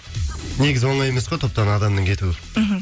негізі оңай емес қой топтан адамның кетуі мхм